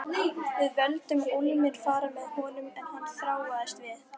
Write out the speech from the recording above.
Við vildum ólmir fara með honum en hann þráaðist við.